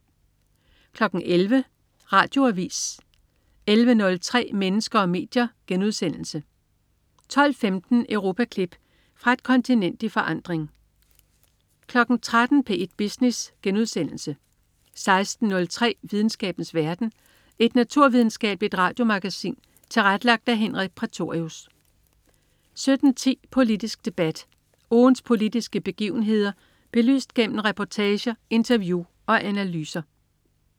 11.00 Radioavis 11.03 Mennesker og medier* 12.15 Europaklip. Fra et kontinent i forandring 13.00 P1 Business* 16.03 Videnskabens verden. Et naturvidenskabeligt radiomagasin tilrettelagt af Henrik Prætorius 17.10 Politisk Debat. Ugens politiske begivenheder belyst gennem reportage, interview og analyser